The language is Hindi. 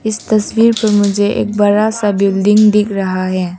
इस तस्वीर पे मुझे एक बड़ा सा बिल्डिंग दिख रहा है।